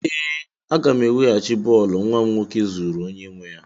Ee, aga m eweghachi bọọlụ nwa m nwoke zuru onye nwe ya.